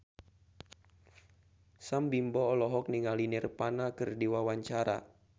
Sam Bimbo olohok ningali Nirvana keur diwawancara